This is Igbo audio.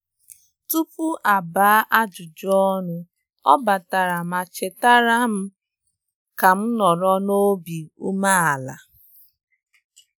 Tupu a gbaa ajụjụ ọnụ, ọ batara ma chetara batara ma chetara m ka m nọrọ n'obi ume ala